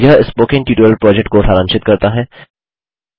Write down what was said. यह spoken tutorial project को सारांशित करता है